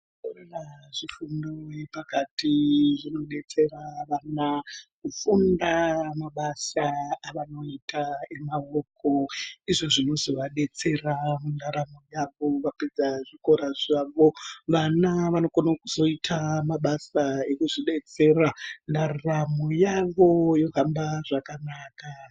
Zvikora zve fundo yepakati zvino detsera vana kufunda mabasa avanoita emaoko izvo zvinozo vadetsera mu ndaraunda apo vapedza zvikora zvavo vana vano kona kuita mabasa ekuzvi detsera ndaramo yavo yohamba zvakanaka.